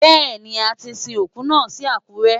Bẹ́ẹ̀ni, a ti sin òkú náà sí Àkúrẹ́.